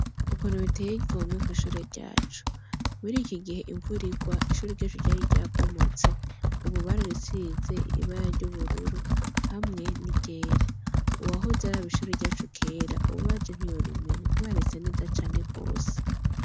Ukuntu riteye igomwe kwi shure ryacu, muri iki gihe imvura igwa ishure ryacu ryari ryabomotse ubu barayisize ibara ry' ubururu hamwe n' iryera, uwahoze araba ishure ryacu kera ubu aje ntiyorimenya kubera risa neza cane gose.